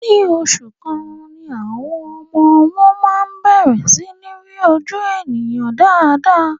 Ní oṣù kan ni àwọn ọmọ-ọwọ máa ń bẹ̀rẹ̀ sí í rí ojú ènìyàn dáadáa.